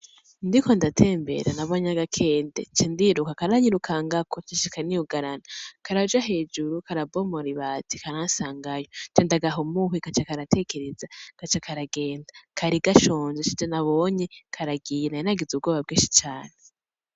Ndiko ndatembera nabonye agakende cendiruka karanyirukangako nshika niyugarana karaja hejuru karabomora ibati karansangayo cendagaha umuhwi kaca karatekereza kaca karagenda kari gashonje sije nabonye karagiye nari nagize ubwoba bwinshi cane